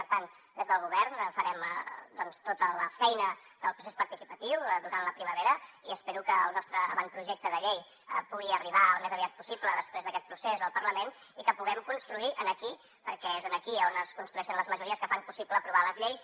per tant des del govern farem tota la feina del procés participatiu durant la primavera i espero que el nostre avantprojecte de llei pugui arribar al més aviat possible després d’aquest procés al parlament i que puguem construir aquí perquè és aquí on es construeixen les majories que fan possible aprovar les lleis